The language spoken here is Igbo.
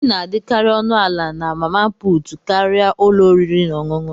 Nri na-adịkarị ọnụ ala na mama puutụ karịa ụlọ oriri na ọṅụṅụ.